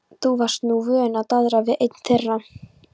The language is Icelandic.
Þú varst nú vön að daðra við einn þeirra.